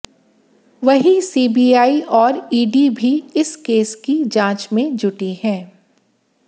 वहीं सीबीआई और ईडी भी इस केस की जांच में जुटी है